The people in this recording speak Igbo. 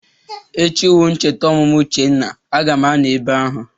Echi wu ncheta ọmụmụ Uchenna, a ga m anọ ebe ahụ.